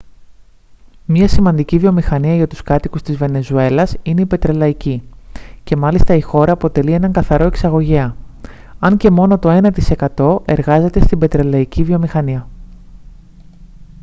μια σημαντική βιομηχανία για τους κατοίκους της βενεζουέλας είναι η πετρελαϊκή και μάλιστα η χώρα αποτελεί έναν καθαρό εξαγωγέα αν και μόνο το ένα τοις εκατό εργάζεται στην πετρελαϊκή βιομηχανία